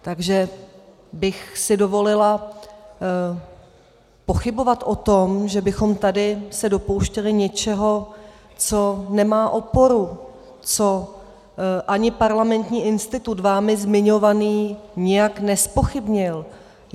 Takže bych si dovolila pochybovat o tom, že bychom se tady dopouštěli něčeho, co nemá oporu, co ani Parlamentní institut vámi zmiňovaný nijak nezpochybnil.